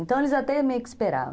Então, eles até meio que esperavam.